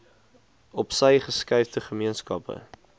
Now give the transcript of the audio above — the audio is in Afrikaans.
opsy geskuifde gemeenskappe